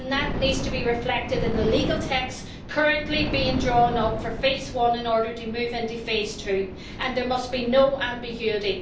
That needs to be reflected in the legal text currently being drawn up for phase 1 in order to move on to phase 2, and there must be no ambiguity.